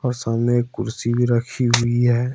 और सामने एक कुर्सी भी रखी हुई है।